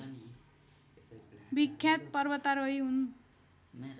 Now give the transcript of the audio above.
विख्यात पर्वतारोही हुन्।